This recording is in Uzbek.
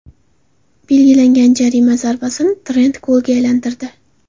Belgilangan jarima zarbasini Trent golga aylantirdi.